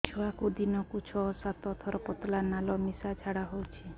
ଛୁଆକୁ ଦିନକୁ ଛଅ ସାତ ଥର ପତଳା ନାଳ ମିଶା ଝାଡ଼ା ହଉଚି